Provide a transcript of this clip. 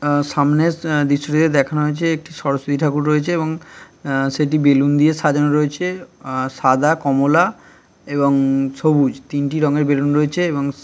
সামনে দেখানো হয়েছে একটি সরস্বতী ঠাকুর রয়েছে এবং সেটি বেলুন দিয়ে সাজানো রয়েছে সাদা কমলা এবং-- সবুজ তিনটি রঙের বেলুন রয়েছে এবং--